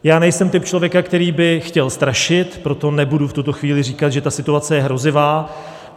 Já nejsem typ člověka, který by chtěl strašit, proto nebudu v této chvíli říkat, že ta situace je hrozivá.